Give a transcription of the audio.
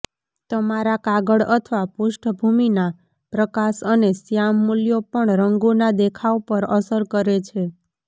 તમારા કાગળ અથવા પૃષ્ઠભૂમિના પ્રકાશ અને શ્યામ મૂલ્યો પણ રંગોના દેખાવ પર અસર કરે છે